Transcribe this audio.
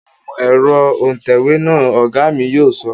Nu ẹ̀rọ òǹtẹ̀wé náà, Ọ̀gá mi yóò sọ